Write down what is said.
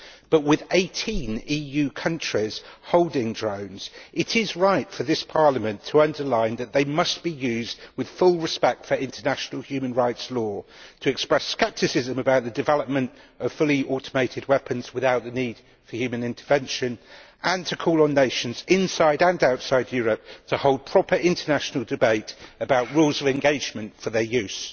But with 18 EU countries holding drones it is right for this Parliament to underline that they must be used with full respect for international human rights law, to express scepticism about the development of fully automated weapons without the need for human intervention, and to call on nations inside and outside Europe to hold a proper international debate about rules of engagement for their use.